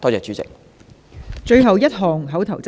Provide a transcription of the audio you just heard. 最後一項口頭質詢。